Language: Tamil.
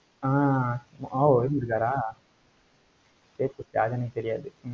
ஆஹ் அஹ் ஓ இருந்துருக்காரா சரி சரி யாருனு எனக்கு தெரியாது.